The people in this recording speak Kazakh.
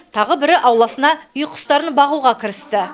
тағы бірі ауласына үй құстарын бағуға кірісті